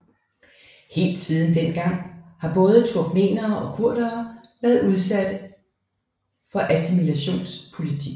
Helt siden den gang har både turkmenere og kurderne været udsatte for assimilationspolitik